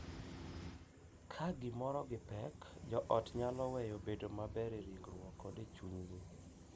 Ka giromo gi pek, jo ot nyalo weyo bedo maber e ringruok kod e chunygi .